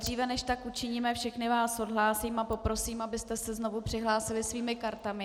Dříve než tak učiníme, všechny vás odhlásím a poprosím, abyste se znovu přihlásili svými kartami.